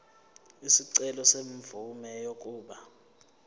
isicelo semvume yokuba